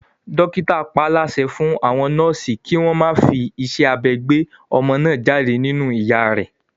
Dókítà paálásẹ fún àwọn nọ́ọ̀sì kí wọ́n má fi iṣẹ́ abẹ gbé ọmọ náà jáde nínú ìyá rẹ